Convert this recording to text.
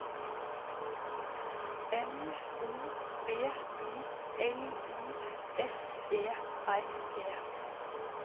M O B I L I S E R E